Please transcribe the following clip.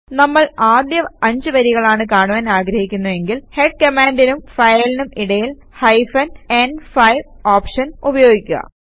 നമ്മൾ ആദ്യ 5 വരികളാണ് കാണുവാൻ ആഗ്രഹിക്കുന്നവെങ്കിൽ ഹെഡ് കമാൻഡിനും ഫയലിനും ഇടയിൽ ഹൈഫൻ ന്5 ഓപ്ഷൻ ഉപയോഗിക്കുക